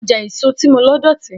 Ọjà èso tí mo lọ dọ̀tí.